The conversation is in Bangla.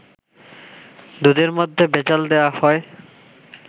দুধের মধ্যে ভেজাল দেয়া হয়